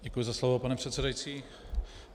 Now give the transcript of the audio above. Děkuji za slovo, pane předsedající.